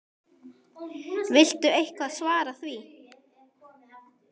Viltu eitthvað svara því?